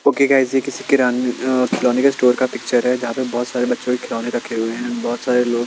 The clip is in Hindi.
ओके गाईज ये किसी के अं अ खिलौने का स्टोर का पिक्चर है यहाँ पर बहोत सारे बच्चों के लिये खिलोने रखे हुए हैं बहोत सारे लोग --